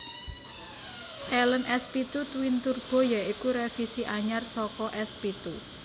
Saleen S pitu Twin Turbo ya iku revisi anyar saka S pitu